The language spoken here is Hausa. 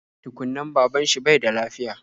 Tukun nan, baban shi bai da lafiya